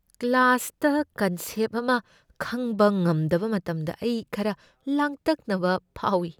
ꯀ꯭ꯂꯥꯁꯇ ꯀꯟꯁꯦꯞ ꯑꯃ ꯈꯪꯕ ꯉꯝꯗꯕ ꯃꯇꯝꯗ ꯑꯩ ꯈꯔ ꯂꯥꯡꯇꯛꯅꯕ ꯐꯥꯎꯏ꯫